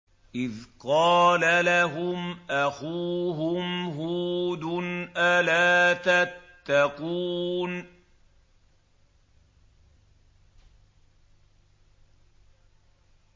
إِذْ قَالَ لَهُمْ أَخُوهُمْ هُودٌ أَلَا تَتَّقُونَ